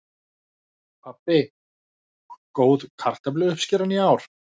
Pabbi: Góð kartöfluuppskeran í ár.